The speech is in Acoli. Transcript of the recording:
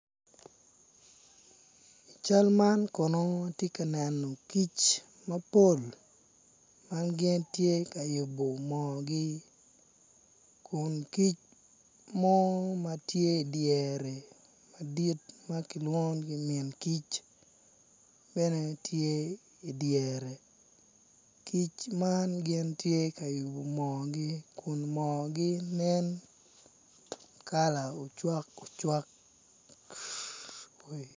Cal man kono atye ka neno kic mapol ma gitye ka yubo moogi kun kic madit ma kilwongo ni min kic, kic man gitye ka yubo moogi kun moogi nen kala ocwakocwak.